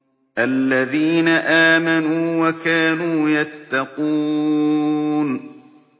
الَّذِينَ آمَنُوا وَكَانُوا يَتَّقُونَ